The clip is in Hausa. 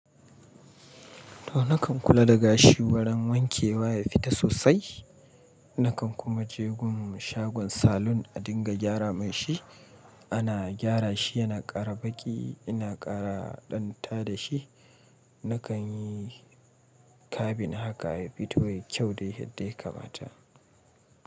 To nakan kula da gashi, wajen wanke wa ya fita sosai. Nakan kuma je gun shagon salon, a dinga gyara mashi. Ana gyara shi yana ƙara baƙi, ina ƙara ɗanta da shi. Nakan yi kabin haka ya fito yayi kyau dai yadda ya kamata.